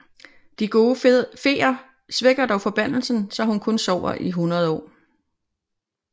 De gode feer svækker dog forbandelsen så hun kun sover i 100 år